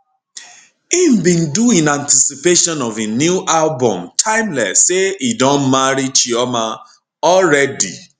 im bin do in anticipation of im new album timeless say e don marry chioma already